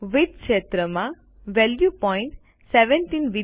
width ક્ષેત્રમાં value પોઈન્ટ70